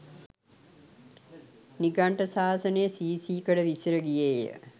නිගණ්ඨ ශාසනය සී සී කඩ විසිර ගියේය.